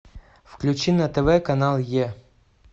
включи на тв канал е